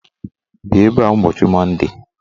Bịa ebe a ụbọchị Monde!